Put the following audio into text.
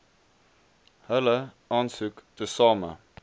hulle aansoek tesame